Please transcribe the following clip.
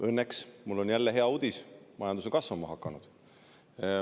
Õnneks on mul jälle hea uudis: majandus on kasvama hakanud.